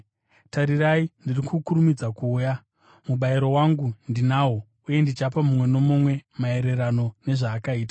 “Tarirai, ndiri kukurumidza kuuya! Mubayiro wangu ndinawo, uye ndichapa mumwe nomumwe maererano nezvaakaita.